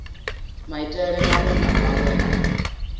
maitele maṅwe na maṅwe a